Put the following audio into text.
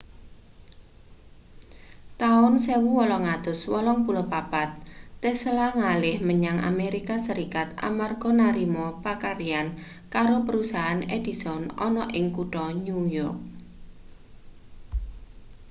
taun 1884 tesla ngalih menyang amerika serikat amarga narima pakaryan karo perusahaan edison ana ing kutha new yok